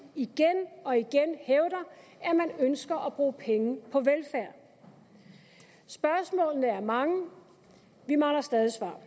igen og igen hævder at de ønsker at bruge penge på velfærd spørgsmålene er mange vi mangler stadig svar